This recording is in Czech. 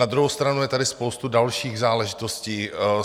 Na druhou stranu je tady spousta dalších záležitostí.